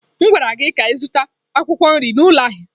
M gwara gị ka ị zụta akwụkwọ nri n'ụlọ ahịa!